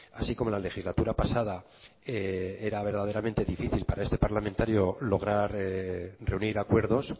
así como la legislatura pasada era verdaderamente difícil para este parlamentario lograr reunir acuerdos